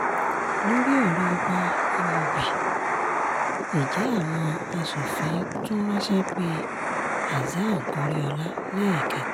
lórí ọ̀rọ̀ ọba imobi-ije àwọn asòfin tún ránṣẹ́ pe hasan goriola lẹ́ẹ̀kẹta